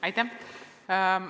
Aitäh!